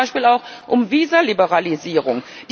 Es geht zum Beispiel auch um Visaliberalisierung.